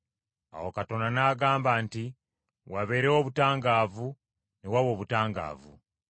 Awo Katonda n’agamba nti, “Wabeerewo obutangaavu,” ne waba obutangaavu.